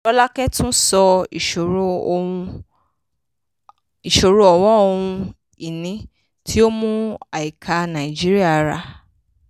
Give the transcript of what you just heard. rọ́lákẹ́ tún sọ ìṣòro ọ̀wọ́n ohun-ìní tí ó mú àìká nàìjíríà rà.